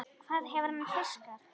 Hvað hefur hann fiskað?